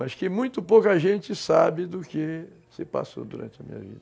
Acho que muito pouca gente sabe do que se passou durante a minha vida.